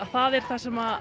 það er það sem